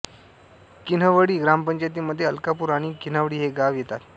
किन्हवळी ग्रामपंचायतीमध्ये अलकापूर आणि किन्हवळी ही गावे येतात